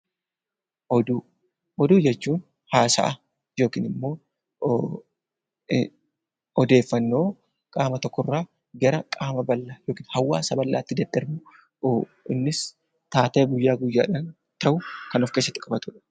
Oduu jechuun haasaa yookiin odeeffannoo qaama tokkorraa gara qaama bal'aa yookaan uummata bal'aatti darbudha. Innis taatee guyyaa guyyaan ta'u kan of keessatti qabatudha.